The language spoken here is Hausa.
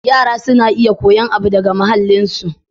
Yara suna kuyan abu daga muhallin su.